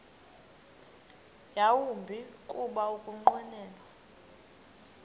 yawumbi kuba ukunqwenela